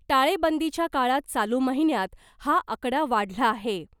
टाळेबंदीच्या काळात चालू महिन्यात हा आकडा वाढला आहे .